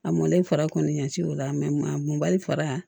A mɔlen fara kɔni ɲanci o la a munbali fara